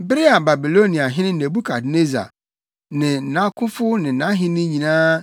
Bere a Babiloniahene Nebukadnessar ne nʼakofo ne nʼahenni nyinaa